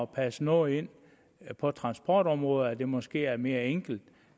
passe noget ind på transportområdet at det måske er mere enkelt